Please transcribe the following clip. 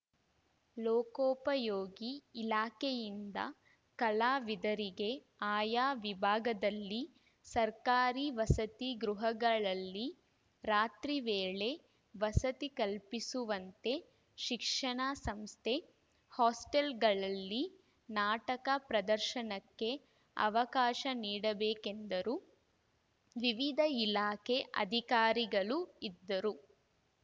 ಲೋಕೋಪಯೋಗಿ ಇಲಾಖೆಯಿಂದ ಕಲಾವಿದರಿಗೆ ಆಯಾ ವಿಭಾಗದಲ್ಲಿ ಸರ್ಕಾರಿ ವಸತಿ ಗೃಹಗಳಲ್ಲಿ ರಾತ್ರಿ ವೇಳೆ ವಸತಿ ಕಲ್ಪಿಸುವಂತೆ ಶಿಕ್ಷಣ ಸಂಸ್ಥೆ ಹಾಸ್ಟೆಲ್‌ಗಳಲ್ಲಿ ನಾಟಕ ಪ್ರದರ್ಶನಕ್ಕೆ ಅವಕಾಶ ನೀಡಬೇಕೆಂದರು ವಿವಿಧ ಇಲಾಖೆ ಅಧಿಕಾರಿಗಳು ಇದ್ದರು